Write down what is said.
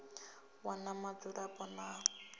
wana vhudzulapo ha ḽi ṅwe